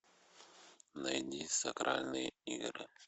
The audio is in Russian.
найди сакральные игры